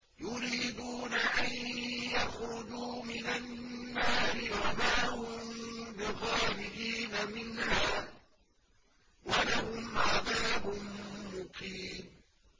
يُرِيدُونَ أَن يَخْرُجُوا مِنَ النَّارِ وَمَا هُم بِخَارِجِينَ مِنْهَا ۖ وَلَهُمْ عَذَابٌ مُّقِيمٌ